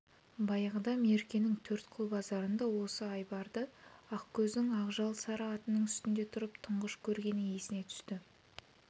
баяғыда меркенің төрткүл базарында осы айбарды ақкөздің ақжал сары атының үстінде тұрып тұңғыш көргені есіне түсті